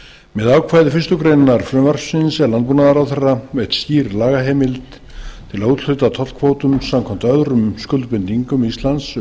með ákvæði fyrstu grein frumvarpsins er landbúnaðarráðherra veitt skýr lagaheimild til að úthluta tollkvótum samkvæmt öðrum skuldbindingum íslands um